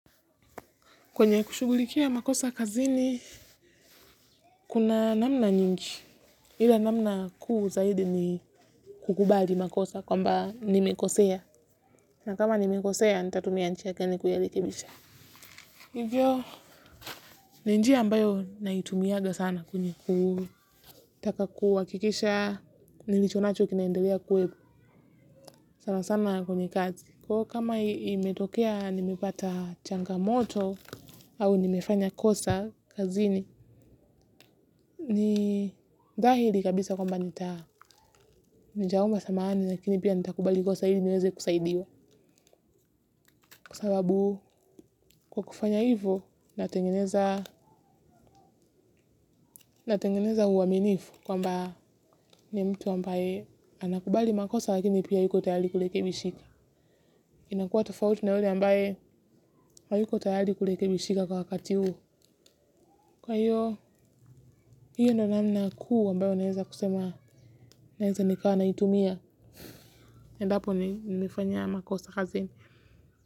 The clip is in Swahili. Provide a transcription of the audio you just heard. Kwenye kushugulikia makosa kazini, kuna namna nyingi. Ila namna kuu zaidi ni kukubali makosa kwamba nimekosea. Na kama nimekosea, nitatumia njia gani kuyarekebisha. Hivyo, ni njia ambayo naitumiaga sana kwenye kutaka kuhakikisha, nilicho nacho kinaendelea kweli sana sana kwenye kazi. Kwa hiyo kama imetokea, nimepata changamoto au nimefanya kosa kazini, ni dhahiri kabisa kwamba nita nitaomba samahani lakini pia nitakubali kosa ili niweze kusaidiwa kwa sababu kwa kufanya hivo natengeneza natengeneza uaminifu kwamba ni mtu ambaye anakubali makosa lakini pia yuko tayari kurekebishika inakuwa tofauti na yule ambaye hayuko tayari kurekebishika kwa wakati huu kwa hiyo hiyo ndo namna kuu ambayo naeza kusema naeza nikawa naitumia endapo nimefanya makosa kazini.